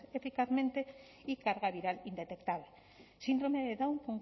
eficazmente y carga viral indetectable síndrome de down